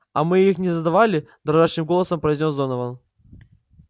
а мы их не задавали дрожащим голосом произнёс донован